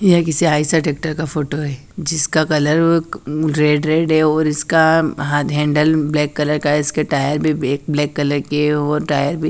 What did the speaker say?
ये किसी आई सडेटक्र का फोटो है जिसका कलर अम्म रेड रेड है और इसका हाथ-हैंडल ब्लैक कलर का है इसके टायर भी ब्लैक कलर के है और टायर भी--